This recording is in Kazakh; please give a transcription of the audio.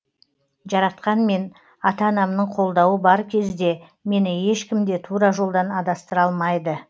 жаратқан мен ата анамның қолдауы бар кезде мені ешкім де тура жолдан адастыра алмайды